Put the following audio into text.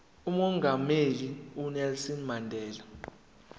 umongameli unelson mandela